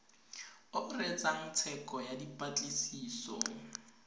o reetsang tsheko ya dipatlisiso